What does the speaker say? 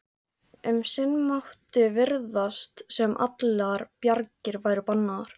Um sinn mátti virðast sem allar bjargir væru bannaðar.